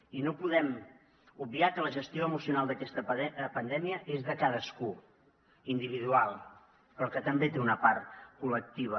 i no podem obviar que la gestió emocional d’aquesta pandèmia és de cadascú individual però que també té una part col·lectiva